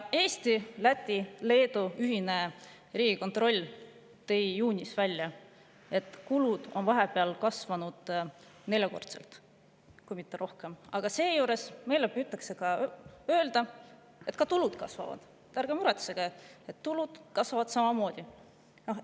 Eesti, Läti ja Leedu ühine riigikontroll tõi juunis välja, et kulud on vahepeal kasvanud neljakordseks kui mitte rohkem, aga seejuures püütakse meile öelda, et ka tulud kasvavad: "Ärge muretsege, tulud kasvavad samamoodi!